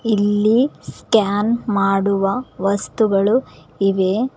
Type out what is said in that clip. ಇಲ್ಲಿ ಸ್ಕ್ಯಾನ್ ಮಾಡುವ ವಸ್ತುಗಳು ಇವೆ.